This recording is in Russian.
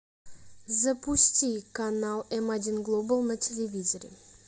запусти канал м один глобал на телевизоре